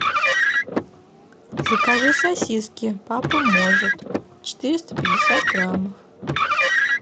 закажи сосиски папа может четыреста пятьдесят граммов